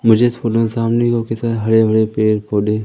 मुझे इस फूलों के सामने ऑफिस है हरे भरे पेड़ पौधे--